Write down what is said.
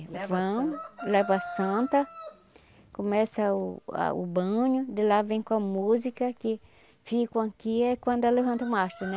Vão, leva a Santa, começa o a o banho, de lá vem com a música, que ficam aqui, é quando levanta o mastro, né?